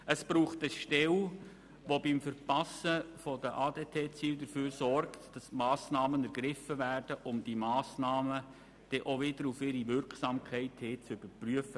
Es braucht eine Stelle, die beim Verpassen der ADT-Ziele dafür sorgt, dass Massnahmen ergriffen werden, und die die Massnahmen dann auch wieder auf ihre Wirksamkeit hin überprüft.